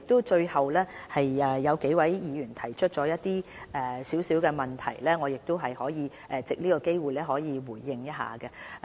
最後，有數位議員提岀一些問題，我亦想藉着這個機會作出回應。